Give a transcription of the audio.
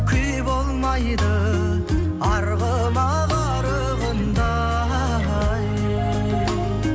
күй болмайды арғымақ арығында ай